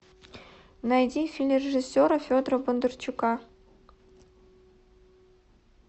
найди фильм режиссера федора бондарчука